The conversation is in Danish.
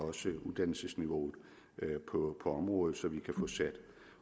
uddannelsesniveauet på området så vi kan få sat